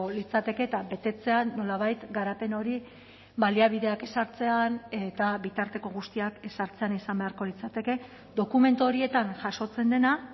litzateke eta betetzean nolabait garapen hori baliabideak ezartzean eta bitarteko guztiak ezartzean izan beharko litzateke dokumentu horietan jasotzen dena